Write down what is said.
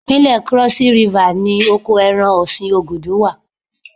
Ìpínlẹ̀ Krọ́sí Rifà ni oko ẹran ọ̀sìn Ògùdù wà.